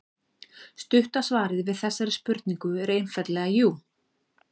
Stutta svarið við þessari spurningu er einfaldlega jú.